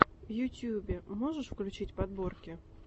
в ютубе можешь включить подборки